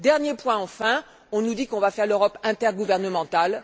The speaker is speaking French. Dernier point, enfin on nous dit que l'on va bâtir l'Europe intergouvernementale.